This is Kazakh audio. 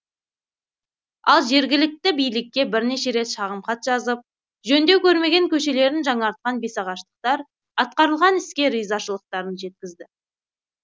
ал жергілікті билікке бірнеше рет шағымхат жазып жөндеу көрмеген көшелерін жаңартқан бесағаштықтар атқарылған іске ризашылықтарын жеткізді